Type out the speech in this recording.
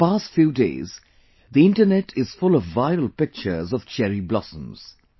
For the past few days Internet is full of viral pictures of Cherry Blossoms